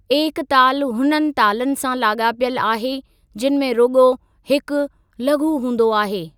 एकताल हुन तालनि सां लागा॒पियलु आहे जिनि में रुगो॒ हिकु लघु हूंदो आहे।